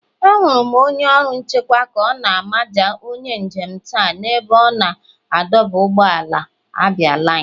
Ahụrụ m onye ọrụ nchekwa ka ọ na-amaja onye njem taa n'ebe a na-adọba ụgbọala abialine.